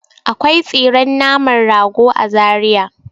Akwai tsiren naman rago a Zariya.